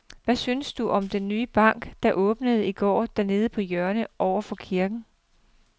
Hvad synes du om den nye bank, der åbnede i går dernede på hjørnet over for kirken?